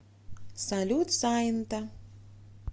салют сайнта